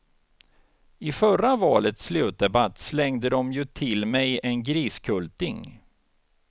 I förra valets slutdebatt slängde dom ju till mig en griskulting.